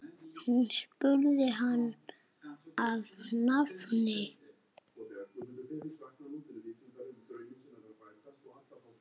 Hún spurði hann að nafni.